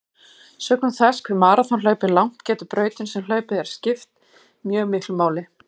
Sökum þess hve maraþonhlaup er langt getur brautin sem hlaupin er skipt mjög miklu máli.